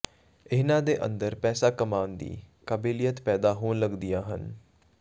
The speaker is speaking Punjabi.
ਇਨ੍ਹਾਂ ਦੇ ਅੰਦਰ ਪੈਸਾ ਕਮਾਣ ਦੀ ਕਾਬਿਲਿਅਤ ਪੈਦਾ ਹੋਣ ਲੱਗਦੀਆਂ ਹਨ